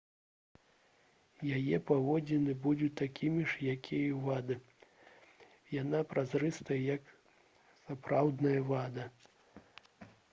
яе паводзіны будуць такімі ж як і ў вады яна празрыстая як сапраўдная вада